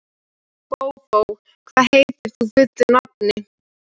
Bóbó, hvað heitir þú fullu nafni?